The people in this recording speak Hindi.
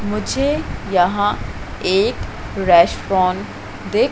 मुझे यहां एक रेस्टोरेंट दिख--